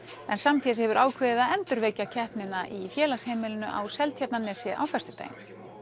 en Samfés hefur ákveðið að endurvekja keppnina í Félagsheimilinu á Seltjarnarnesi á föstudaginn